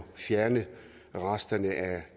fjerne resterne af